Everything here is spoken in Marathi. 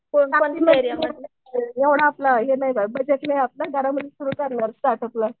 एवढा आपला हे नाही गं बजेट नाही ये सुरु करणार स्टार्टअपला.